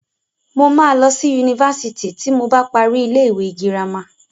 Mo máa lọ sí Yunifásitì ti mo bá parí ilé ìwé girama.